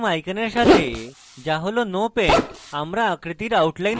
প্রথম আইকনের সাথে যা হল no paint আমরা আকৃতির outline সরাই